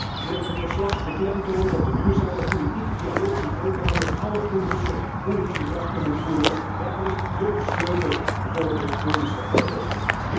Terecht legt het verslag de klemtoon op de duurzame politieke dialoog die Ankara met alle Koerdische politieke krachten moet voeren, want daar ligt dé sleutel voor de Koerdische oplossing.